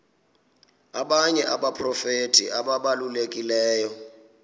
abanye abaprofeti ababalulekileyo